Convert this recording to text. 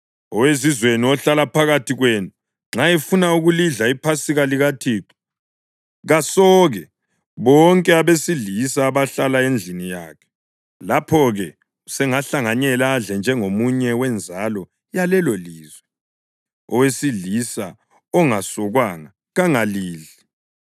Owezizweni ohlala phakathi kwenu nxa efuna ukulidla iPhasika likaThixo kasoke bonke abesilisa abahlala endlini yakhe. Lapho-ke usengahlanganyela adle njengomunye wenzalo yalelolizwe. Owesilisa ongasokwanga kangalidli.